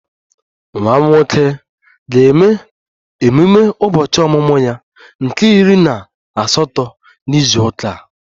Nwa m nwoke ga-eme ememe ụbọchị ọmụmụ ya nke iri na na izu ụka a